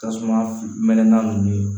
Tasuma fili mɛnɛ na nunnu